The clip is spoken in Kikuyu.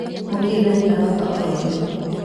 Mũkindani aroka ororĩu.